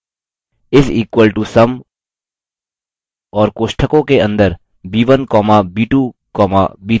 is equal to sum और कोष्ठकों के अंदर b1 comma b2 comma b3 type करें